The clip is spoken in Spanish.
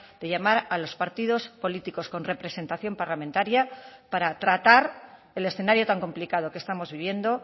de llamar a los partidos políticos con representación parlamentaria para tratar el escenario tan complicado que estamos viviendo